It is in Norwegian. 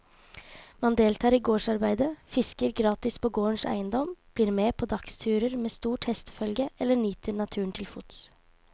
Man deltar i gårdsarbeidet, fisker gratis på gårdens eiendom, blir med på dagsturer med stort hestefølge eller nyter naturen til fots.